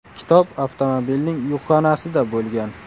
Kitob avtomobilning yukxonasida bo‘lgan.